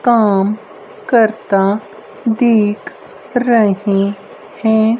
काम करता देख रहे है।